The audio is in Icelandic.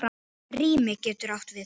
Rými getur átt við